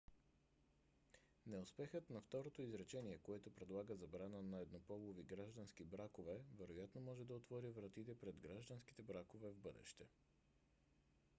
неуспехът на второто изречение което предлага забрана на еднополови граждански бракове вероятно може да отвори вратие пред гражданските бракове в бъдеще